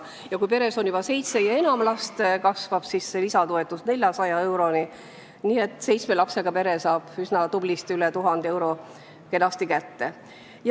Kui peres on juba seitse või enam last, kasvab lisatoetus 400 euroni, nii et seitsme lapsega pere saab tublisti üle 1000 euro kenasti kätte.